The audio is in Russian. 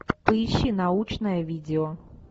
поищи научное видео